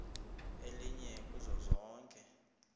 elinye kuzo zonke